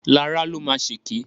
Lará ló máa ṣèkè.